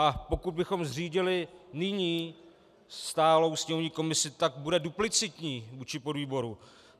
A pokud bychom zřídili nyní stálou sněmovní komisi, tak bude duplicitní vůči podvýboru.